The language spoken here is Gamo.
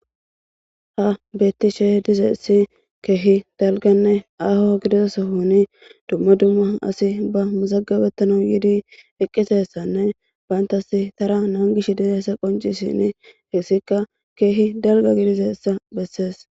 Ha bettishe diizayssi kehi dalgganne aho giidida sohon dumma dumma assi ba mazagabettanas yiidi eqqidayssane bantta taara nangishe diizayssi qonccishin hessika kehi dalgga gidizayssa besses.